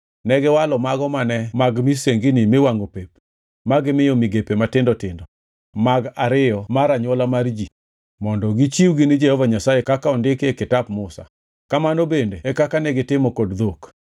Negiwalo mago mane mag misengini miwangʼo pep ma gimiyo migepe matindo tindo mag ariyo mar anywola mar ji mondo gichiwgi ni Jehova Nyasaye kaka ondiki e kitap Musa. Kamano bende e kaka negitimo kod dhok.